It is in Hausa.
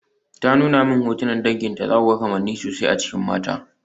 Ta nuna min hotunan danginta, zaku ga kamanni sosai a cikin mata.